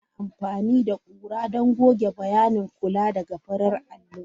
Ana amfani da ƙura don goge bayanin kula daga farar allo.